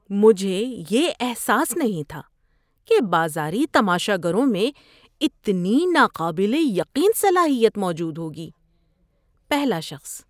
مجھے یہ احساس نہیں تھا کہ بازاری تماشا گروں میں اتنی ناقابل یقین صلاحیت موجود ہوگی۔ (پہلا شخص)